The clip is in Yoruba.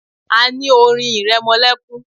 A ní orin ìrẹmọlẹ́kún.